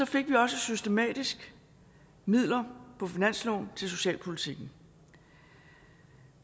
fik vi også systematisk midler på finansloven til socialpolitikken